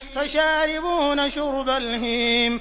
فَشَارِبُونَ شُرْبَ الْهِيمِ